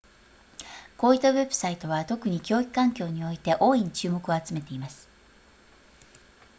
こういったウェブサイトは特に教育環境において大いに注目を集めています